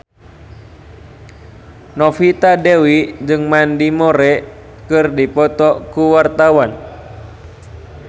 Novita Dewi jeung Mandy Moore keur dipoto ku wartawan